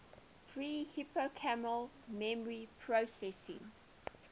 pre hippocampal memory processing